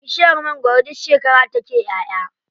Bishiyar mangwaro duk shekara take ƴaʼya.